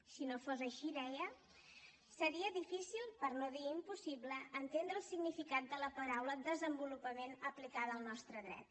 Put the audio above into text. si no fos així deia seria difícil per no dir impossible entendre el significat de la paraula desenvolupament aplicada al nostre dret